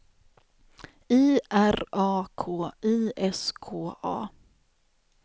I R A K I S K A